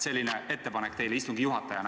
Selline ettepanek teile kui istungi juhatajale.